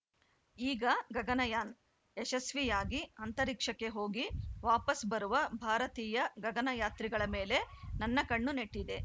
ಈಗ ಗಗನಯಾನ್‌ ಯಶಸ್ವಿಯಾಗಿ ಅಂತರಿಕ್ಷಕ್ಕೆ ಹೋಗಿ ವಾಪಸ್‌ ಬರುವ ಭಾರತೀಯ ಗಗನಯಾತ್ರಿಗಳ ಮೇಲೆ ನನ್ನ ಕಣ್ಣು ನೆಟ್ಟಿದೆ